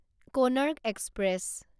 Konark express